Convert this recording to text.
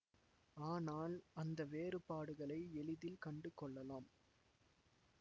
ஆனால் அந்த வேறுபாடுகளை எளிதில் கண்டுகொள்ளலாம்